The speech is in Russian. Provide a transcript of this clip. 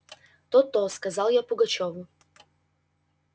то-то сказал я пугачёву